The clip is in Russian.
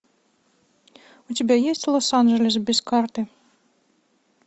у тебя есть лос анджелес без карты